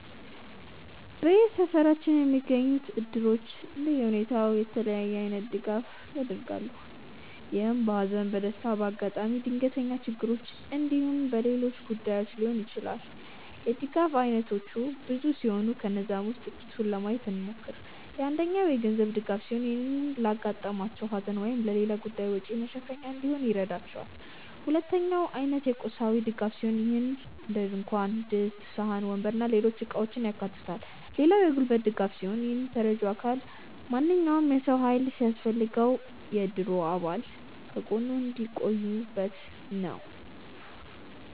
በሰፈራችን የሚገኙት እድሮች እንደየሁኔታው የተለያየ አይነት ድጋፍ ያደርጋሉ። ይህም በሃዘን፣ በደስታ፣ በአጋጣሚ ድንገተኛ ችግሮች እንዲሁም በሌሎች ጉዳዮች ሊሆን ይችላል። የድጋፍ አይነቶቹ ብዙ ሲሆኑ ከነዛም ውስጥ ጥቂቱን ለማየት እንሞክር። አንደኛው የገንዘብ ድጋፍ ሲሆን ይህም ለአጋጠማቸው ሃዘን ወይም ሌላ ጉዳይ ወጪ መሸፈኛ እንዲሆን ይረዳቸዋል። ሁለተኛው የአይነት እና የቁሳቁስ ድጋፍ ሲሆን ይህም እንደድንኳን ድስት፣ ሳህን፣ ወንበር እና ሌሎች እቃውችን ያካታል። ሌላው የጉልበት ድጋፍ ሲሆን ይህም ተረጂው አካል ማንኛውም የሰው ሃይል ሲያስፈልገው የእድሩ አባል ከጎኑ የሚሆኑበት ነው።